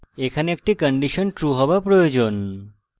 এখানে একটি condition true হওয়া প্রয়োজন